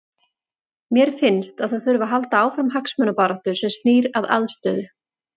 Mér finnst að það þurfi að halda áfram hagsmunabaráttu sem snýr að aðstöðu.